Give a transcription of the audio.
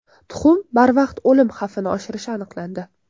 Tuxum barvaqt o‘lim xavfini oshirishi aniqlandi.